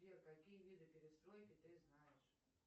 сбер какие виды перестройки ты знаешь